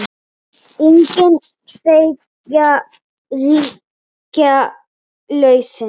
Engin tveggja ríkja lausn?